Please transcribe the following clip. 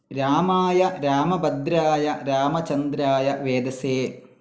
രാമായ രാമഭദ്രായ രാമചന്ദ്രായ വേദസേ